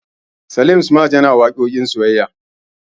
Salim smart yana waƙoƙin soyayya.